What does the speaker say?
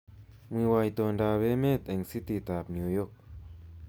Mwiwo itondoab emet eng cititab New York